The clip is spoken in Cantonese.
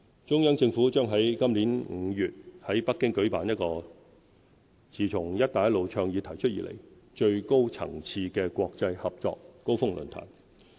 中央政府將在今年5月在北京舉辦一個自"一帶一路"倡議提出以來最高層次的國際合作高峰論壇。